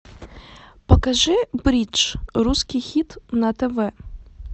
покажи бридж русский хит на тв